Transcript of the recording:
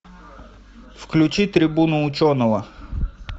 включи трибуну ученого